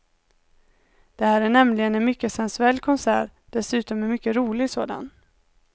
Det här är nämligen en mycket sensuell konsert, dessutom en mycket rolig sådan.